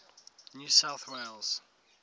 new south wales